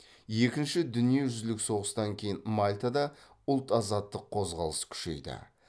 екінші дүниежүзілік соғыстан кейін мальтада ұлт азаттық қозғалыс күшейді